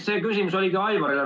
See küsimus oligi Aivarile.